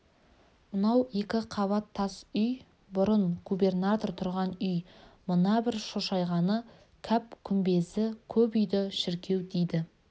мынау екі қабат тас үй бұрын гүбернатор тұрған үй мына бір шошайғаны кәп күмбезі көп үйді шіркеу дейді